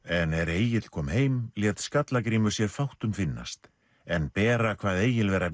en er Egill kom heim lét skalla i i Grímur sér fátt um finnast en bera kvað Egil vera